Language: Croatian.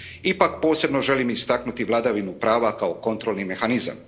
Ipak posebno želim istaknuti vladavinu prava kao kontrolni mehanizam.